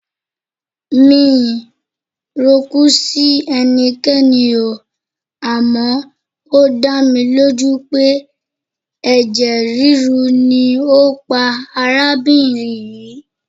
Mi ò rokú sí ẹnikẹ́ni oo, àmọ́ ó dámilójú pé ẹ̀jẹ̀ rírú ni á pa arábìnrin yìí.